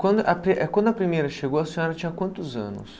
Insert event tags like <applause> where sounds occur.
Quando a <unintelligible> quando a primeira chegou, a senhora tinha quantos anos?